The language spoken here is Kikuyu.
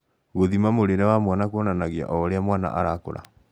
Gûthima mũrĩĩre wa mwana kuonanagia oũria mwana arakũra